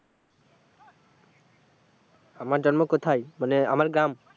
আমার জন্ম কোথায়? মানে আমার গ্রাম।